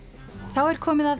þá er komið að